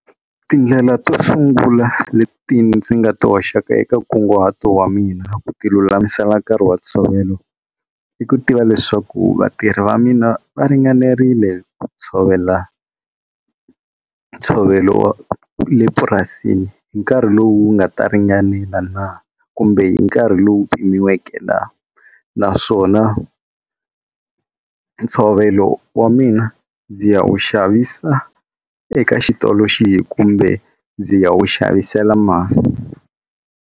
Tindlela to sungula leti ndzi nga to hoxaka eka nkunguhato wa mina ku tilulamisela nkarhi wa ntshovelo i ku tiva leswaku vatirhi va mina va ringananerile ku tshovela ntshovelo le purasini hi nkarhi lowu wu nga ta ringanela na kumbe hi nkarhi lowu pimiweke na naswona ntshovelo wa mina ndzi ya wu xavisa eka xitolo xihi kumbe ndzi ya wu xavisela mani.